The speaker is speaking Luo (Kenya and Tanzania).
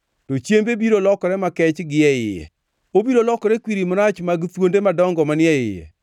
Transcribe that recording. to chiembe biro lokore makech gie iye; obiro lokore kwiri marach mag thuonde madongo manie iye.